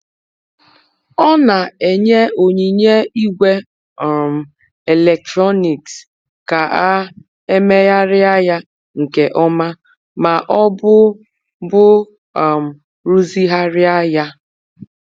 Ọ na-enye onyinye igwe um eletrọnịks ka a e megharịa ya nke ọma ma ọ bụ bụ um rụzigharịa ya.